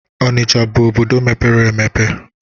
Onicha bụ obodo mepere emepe